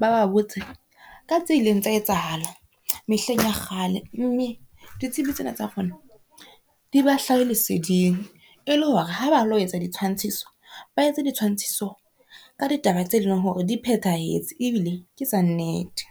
ba ba botse ka tse ileng tsa etsahala mehleng ya kgale, mme ditsebi tsena tsa rona di ba hlahe leseding e le hore ha ba lo etsa ditshwantshiso, ba etse ditshwantshiso ka ditaba tse leng hore di phethahetse ebile ke tsa nnete.